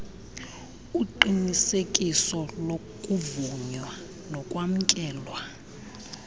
uqinisekiso lokuvunywa nokwamkelwa